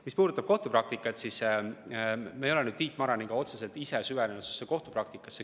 Mis puudutab kohtupraktikat, siis me ei ole Tiit Maraniga otseselt sellesse süvenenud.